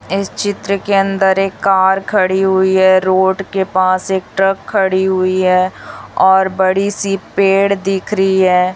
इस चित्र के अंदर एक कार खड़ी हुई है रोड के पास एक ट्रक खड़ी हुई है और बड़ी सी पेड़ दिख रही है।